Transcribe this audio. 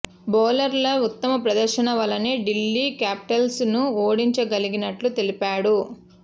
బౌలర్ల ఉత్తమ ప్దర్శన వల్లనే ఢిల్లీ క్యాపిటల్స్ ను ఓడించగలిగినట్లు తెలిపాడు